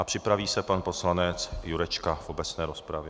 A připraví se pan poslanec Jurečka v obecné rozpravě.